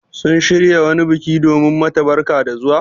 Sun shirya wani biki domin mata barka da zuwa?